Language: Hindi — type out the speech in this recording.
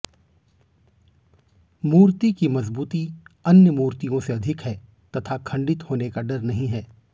मूर्ति की मजबूती अन्य मूर्तियों से अधिक है तथा खंडित होने का डर नहीं है